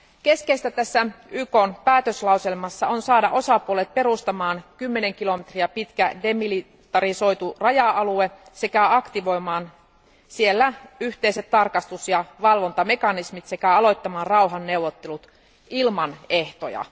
Keskeistä tässä YKn päätöslauselmassa on saada osapuolet perustamaan 10 kilometriä pitkä demilitarisoitu raja alue, aktivoimaan siellä yhteiset tarkastus ja valvontamekanismit sekä aloittamaan rauhanneuvottelut ilman ehtoja.